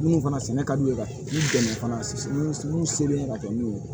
Minnu fana sɛnɛ ka di u ye ka dɛmɛ fana minnu selen ka kɛ n'u ye